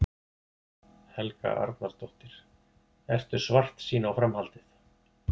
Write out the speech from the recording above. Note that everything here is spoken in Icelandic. Helga Arnardóttir: Ertu svartsýn á framhaldið?